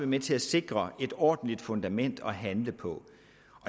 med til at sikre et ordentligt fundament at handle på